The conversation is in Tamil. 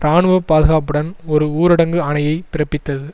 இராணுவ பாதுகாப்புடன் ஒரு ஊரடங்கு ஆணையைப் பிறப்பித்தது